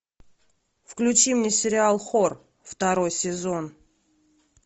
включи мне сериал хор второй сезон